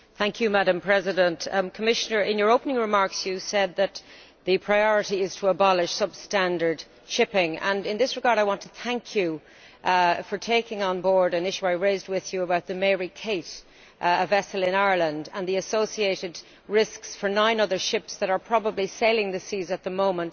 Madam President, Commissioner, in your opening remarks you said that the priority is to abolish substandard shipping, and in that regard I want to thank you for tackling an issue I raised with you about the a vessel in Ireland, and the associated risks for nine other ships that are probably sailing the seas at the moment.